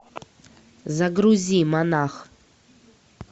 загрузи монах